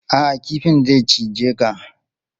A'a, kifin zai cije ka.